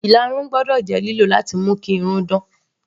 Ìlarun gbọ́dọ̀ jẹ́ lílò láti mú kí irun dán.